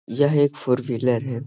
यह एक four wheeler है ।